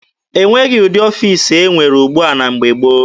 E nweghị ụdị ọfiisi e nwere ugbua na mgbe gboo.